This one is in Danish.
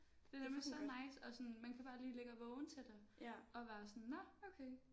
Det er nemlig så nice og sådan man kan bare lige ligge og vågne til det og være sådan nåh okay